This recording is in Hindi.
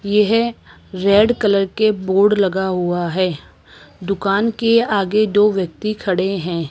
यह रेड कलर के बोर्ड लगा हुआ हैं। दुकान के आगे दो व्यक्ति खड़े हैं।